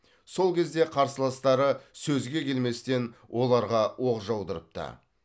сол кезде қарсыластары сөзге келместен оларға оқ жаудырыпты